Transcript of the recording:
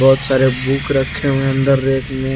बहोत सारे बुक रखे हुए है अंदर रैक में।